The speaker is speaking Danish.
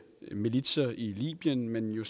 militser i libyen men jo